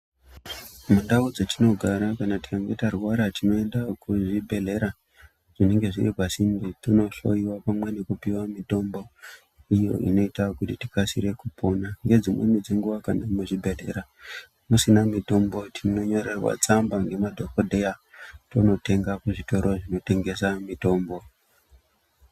Mundau dzatinogara, kana tikange tarwara tinoenda kuzvibhedhlera, zvinenge zviri pasinde, tonohloiwa pamwe nekupiwa mitombo, iyo inoita kuti tikasire kupona. Nedzimweni dzenguwa muzvibhedhlera musina mitombo, tinonyorerwa tsamba ngemadhokodheya, tondotenga kuzvitoro zvinotengesa mitombo.